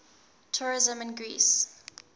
tourism in greece